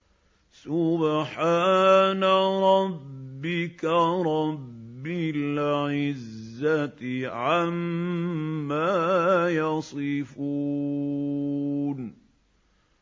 سُبْحَانَ رَبِّكَ رَبِّ الْعِزَّةِ عَمَّا يَصِفُونَ